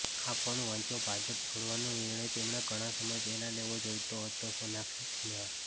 આ પણ વાંચોઃ ભાજપ છોડવાનો નિર્ણય તેમણે ઘણા સમય પહેલાં લેવો જોઈતો હતોઃસોનાક્ષી સિંહા